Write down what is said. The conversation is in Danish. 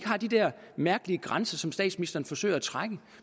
er de der mærkelige grænser som statsministeren forsøger at trække